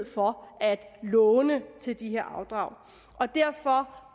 for at låne til de her afdrag derfor